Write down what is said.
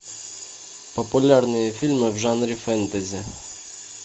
популярные фильмы в жанре фэнтези